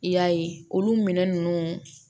I y'a ye olu minɛn ninnu